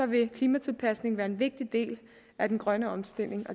vil klimatilpasning være en vigtig del af den grønne omstilling